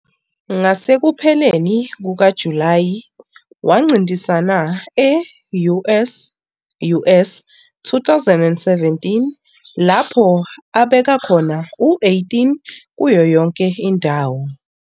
Ngasekupheleni kukaJulayi wancintisana e- US US 2017 lapho abeka khona u-18 kuyo yonke indawo.